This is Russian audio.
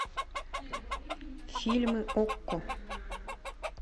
фильмы окко